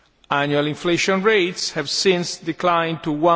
Annual inflation rates have since declined to